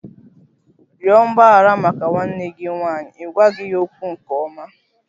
Rịọ mgbaghara maka nwanne gị nwanyị! Ị gwaghị ya okwu nke ọma.